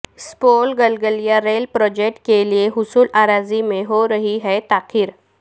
Supaul Galgalia rail project کیلئے حصول اراضی میں ہورہی ہےتاخیر